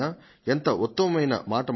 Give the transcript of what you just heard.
ఎంత ఉత్తమోత్తమమైన మాట మాట్లాడినా